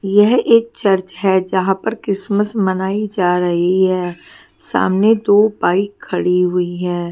येहा एक चर्चा हे जहाँ पर क्रिसमस मनई जा रही है सामने दो बाइक खड़ी हुई है।